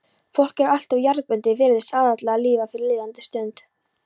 fólk er alltof jarðbundið, virðist aðallega lifa fyrir líðandi stund.